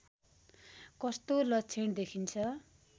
कस्तो लक्षण देखिन्छ